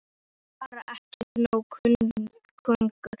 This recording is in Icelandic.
Hann var bara ekki nógu kunnugur.